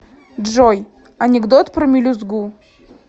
джой анекдот про мелюзгу